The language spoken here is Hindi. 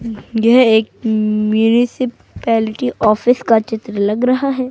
यह एक का ऑफिस का चित्र लग रहा है।